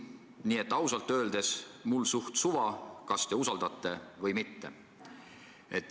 Nii et ausalt öeldes on mul suht suva, kas te usaldate või mitte.